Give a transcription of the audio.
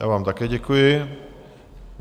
Já vám také děkuji.